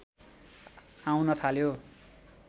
आउन थाल्यो